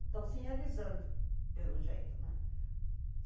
Estão se realizando, pelo jeito, né?